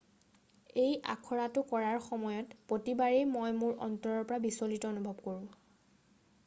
"""এই আখৰাটো কৰাৰ সময়ত প্ৰতিবাৰেই মই মোৰ অন্তৰৰ পৰা বিচলিত অনুভৱ কৰোঁ।.""